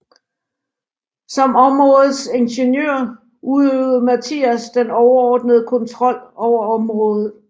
Som områdets ingeniør udøvede Mathias den overordnede kontrol over området